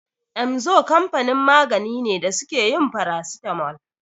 Emzor kamfanin magani ne da suke yin farasitamol.